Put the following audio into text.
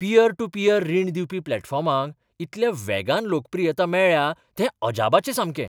Pier to peer रीण दिवपी प्लॅटफॉर्मांक इतल्या वेगान लोकप्रियता मेळ्ळ्या तें अजापाचें सामकें.